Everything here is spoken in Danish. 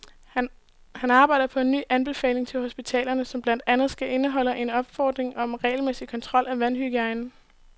Han arbejder på en ny anbefaling til hospitalerne, som blandt andet skal indeholde en opfordring om regelmæssig kontrol af vandhygiejnen.